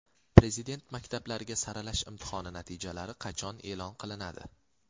Prezident maktablariga saralash imtihoni natijalari qachon e’lon qilinadi?.